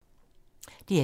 DR1